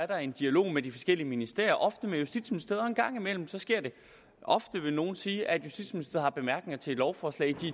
der en dialog med de forskellige ministerier ofte med justitsministeriet og en gang imellem sker det ofte vil nogle sige at justitsministeriet har bemærkninger til et lovforslag de